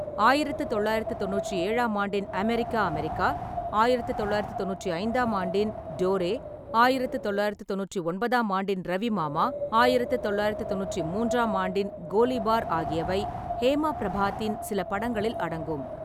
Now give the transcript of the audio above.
ஆயிரத்து தொள்ளாயிரத்து தொண்ணூற்றி ஏழாம் ஆண்டின் அமெரிக்கா அமெரிக்கா, ஆயிரத்து தொள்ளாயிரத்து தொண்ணூற்றி ஐந்தாம் ஆண்டின் டோரே, ஆயிரத்து தொள்ளாயிரத்து தொண்ணூற்றி ஒன்பதாம் ஆண்டின் ரவிமாமா, ஆயிரத்து தொள்ளாயிரத்து தொண்ணூற்றி மூன்றாம் ஆண்டின் கோலிபார் ஆகியவை ஹேமா பிரபாத்தின் சில படங்களில் அடங்கும்.